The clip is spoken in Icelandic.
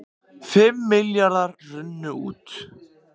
Fimm milljarðar runnu út